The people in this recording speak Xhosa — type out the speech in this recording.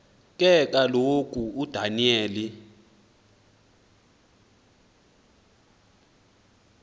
ke kaloku udaniyeli